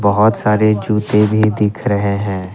बहुत सारे जूते भी दिख रहे हैं।